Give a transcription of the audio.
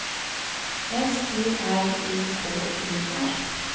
S T R Y K E R